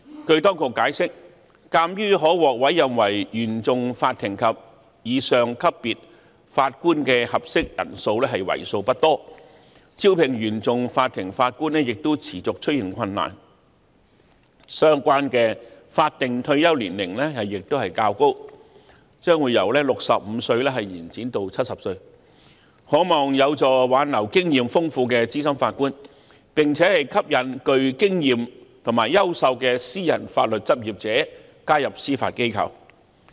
據當局解釋，鑒於可獲委任為原訟法庭及以上級別法官的合適人選為數不多，以及招聘原訟法庭法官方面亦持續出現困難，因此相關的法定退休年齡亦較高，將會由65歲延展至70歲，可望有助挽留經驗豐富的資深法官，並且吸引具經驗及優秀的私人法律執業者加入司法機構。